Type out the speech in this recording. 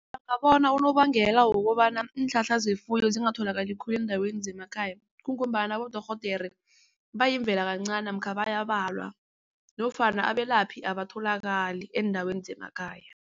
unobangela wokobana iinhlahla zefuyo zingatholakali khulu eendaweni zemakhaya kungombana abodorhodere yimvela kancani namkha bayabalwa nofana abelaphi abatholakali eendaweni zemakhaya.